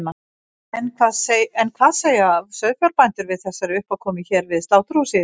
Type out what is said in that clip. En hvað segja sauðfjárbændur við þessari uppákomu hér við sláturhúsið í dag?